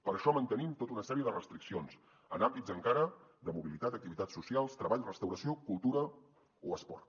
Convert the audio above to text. per això mantenim tota una sèrie de restriccions en àmbits encara de mobilitat activitats socials treball restauració cultura o esport